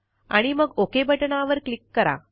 आणि मग ओक बटणावर क्लिक करा